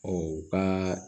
u ka